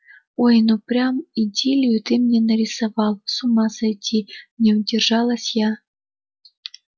ой ну прям идиллию ты мне нарисовал с ума сойти не удержалась я